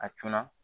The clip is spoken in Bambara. A cunna